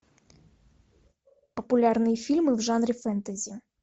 популярные фильмы в жанре фэнтези